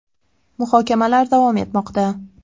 Muhokamalar davom etmoqda.